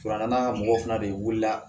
Fara n ka mɔgɔw fana de wulila